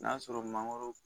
N'a sɔrɔ mangoro